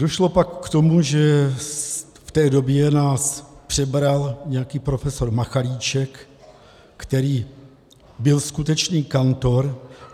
Došlo pak k tomu, že v té době nás přebral nějaký profesor Machalíček, který byl skutečný kantor.